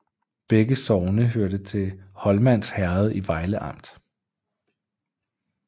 Begge sogne hørte til Holmans Herred i Vejle Amt